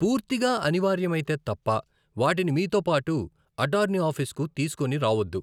పూర్తిగా అనివార్యమైతే తప్ప, వాటిని మీతో పాటు అటార్నీ ఆఫీస్కు తీసుకొని రావొద్దు.